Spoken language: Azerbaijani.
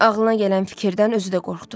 Ağlına gələn fikirdən özü də qorxdu.